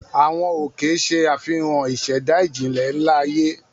Àwọn òkè ṣe àfihàn àwọn ìṣẹ̀dá ìjìnlẹ̀ ńlá ayé.